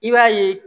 I b'a ye